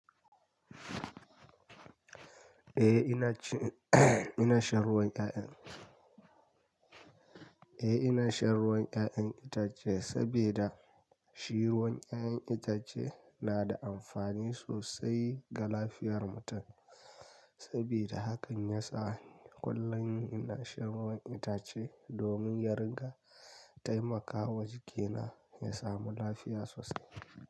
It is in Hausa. Eh ina ci ina shan ruwan 'ya'yan, eh ina shan ruwan 'ya'yan itace sabida shi ruwan 'ya'yan itace na da amfani sosai ga lafiyar mutum. Sabida hakan ya sa kullum ina shan ruwan itace domin ya ringa taimakawa jikina ya samu lafiya sosai.